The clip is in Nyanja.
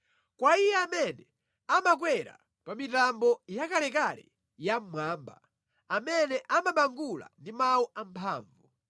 Kwa Iye amene amakwera pa mitambo yakalekale ya mmwamba amene amabangula ndi mawu amphamvu.